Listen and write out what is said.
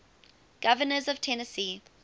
governors of tennessee